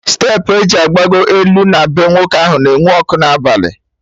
Steepụ eji agbagọ elu na bee nwoke ahụ na-enwu ọkụ n'abalị